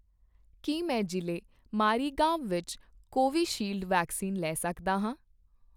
ਕੀ ਮੈਂ ਜ਼ਿਲ੍ਹੇ ਮਾਰੀਗਾਂਵ ਵਿੱਚ ਕੋਵੀਸ਼ੀਲਡ ਵੈਕਸੀਨ ਲੈ ਸਕਦਾ ਹਾਂ?